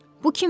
Bu kimdir?